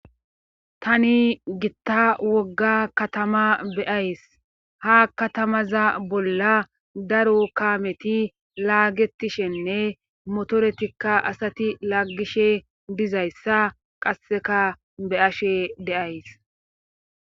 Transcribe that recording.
tani gitta wogga katama beyays ha katamaza bolla daro kaameti laagetishenne motoretikka asati laggishe dizayssa qasseka beashe deays